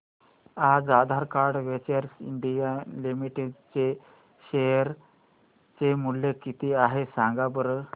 आज Aadhaar ventures India limited चे share चे मूल्य किती आहे सांगा बरं